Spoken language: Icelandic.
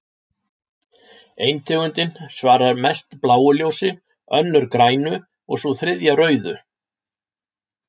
Ein tegundin svarar mest bláu ljósi, önnur grænu og sú þriðja rauðu.